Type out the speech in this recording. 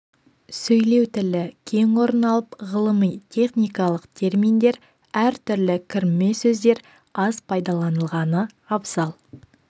сөйлеу тілі кең орын алып ғылыми-техникалық терминдер әр түрлі кірме сөздер аз пайдаланылғаны абзал